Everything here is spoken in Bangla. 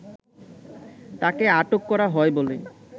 তাকে আটক করা হয় বলে